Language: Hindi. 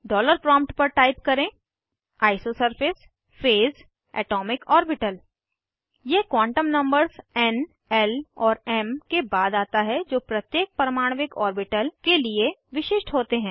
डॉलर प्रॉम्प्ट पर टाइप करें आइसोसरफेस फेज एटोमिक ओर्बिटल यह क्वांटम नंबर्स एन ल और एम के बाद आता है जो प्रत्येक परमाण्विक ऑर्बिटल के लिए विशिष्ट होते हैं